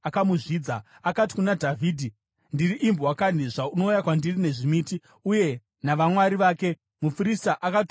Akati kuna Dhavhidhi, “Ndiri imbwa kanhi, zvaunouya kwandiri nezvimiti?” Uye navamwari vake, muFiristia akatuka Dhavhidhi.